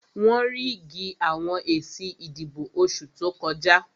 Wọ́n ríìgì àwọn èsì ìbò oṣù tó kọjá